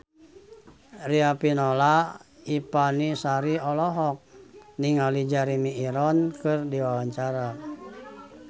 Riafinola Ifani Sari olohok ningali Jeremy Irons keur diwawancara